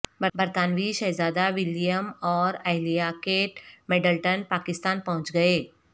برطانوی شہزادہ ولیم اوراہلیہ کیٹ میڈلٹن پاکستان پہنچ گئے